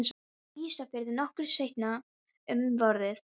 Á Ísafirði nokkru seinna um vorið.